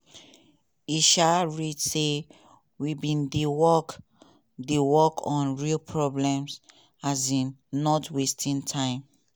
e um read say "we bin dey work dey work on real problems um not wasting time".